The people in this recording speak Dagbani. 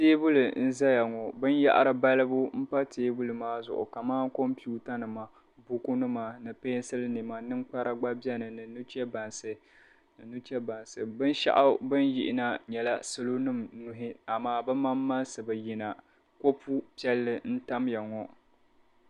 Tabili nzaya ŋɔ. Binyɛri balibu m-pa tabili maa zuɣu kaman computa nima, bukunima, ninkpara gba bieni ni nuchebansi. Binshɛɣu bin yihi na nyɛla salonim nuhu amaa bi mamaŋsi bi yina. Kopu piɛlli ntamya ŋɔ.